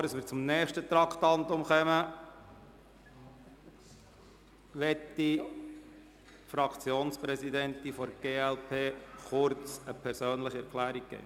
Bevor wir zum nächsten Traktandum kommen, möchte die Fraktionspräsidentin der glp kurz eine persönliche Erklärung abgeben.